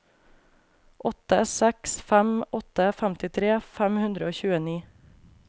åtte seks fem åtte femtifire fem hundre og tjueni